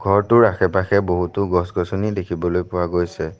ঘৰটোৰ আশে পাশে বহুতো গছ গছনি দেখিবলৈ পোৱা গৈছে।